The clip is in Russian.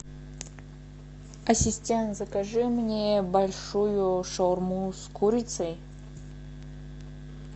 ассистент закажи мне большую шаурму с курицей